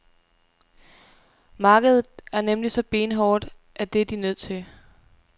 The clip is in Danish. Markedet er nemlig så benhårdt, at det er de nødt til.